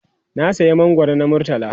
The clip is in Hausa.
na saya mangwaro na murtala